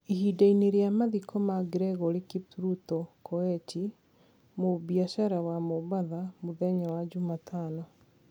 Ihinda-inĩ rĩa mathiko ma Gregory Kipruto Koech, mũbiacara wa Mombatha, mũthenya wa jumatano,